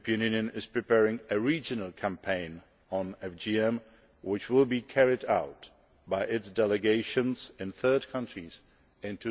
and it is preparing a regional campaign on FGM, which will be carried out by its delegations in third countries